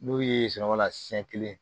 N'o ye sunɔgɔ la siɲɛ kelen